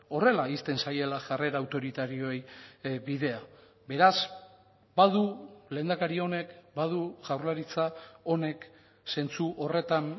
horrela ixten zaiela jarrera autoritarioei bidea beraz badu lehendakari honek badu jaurlaritza honek zentzu horretan